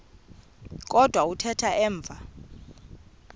kodwa kuthe emva